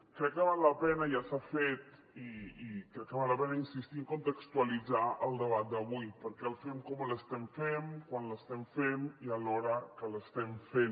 crec que val la pena i ja s’ha fet i crec que val la pena insistir a contextualitzar el debat d’avui perquè el fem com l’estem fent quan l’estem fent i a l’hora que l’estem fent